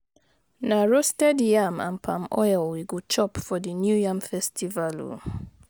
Na roasted yam and palm oil we chop for di New Yam Festival o.